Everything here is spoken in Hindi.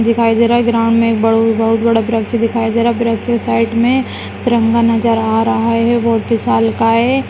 दिखाई दे रहा ग्राउंड में एक बड़ो बहुत बड़ो वृक्ष दिखाई दे रहा है वृक्ष के साइड में तिरंगा नज़र आ रहा है बहुत विशालकाय --